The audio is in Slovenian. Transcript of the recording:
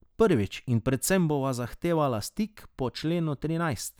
Prvič in predvsem bova zahtevala stik po členu trinajst.